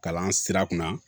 Kalan sira kunna